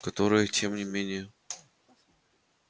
которое тем не менее